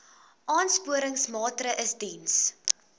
aansporingsmaatre ls diens